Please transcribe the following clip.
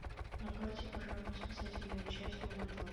на карте пожарно спасательная часть номер два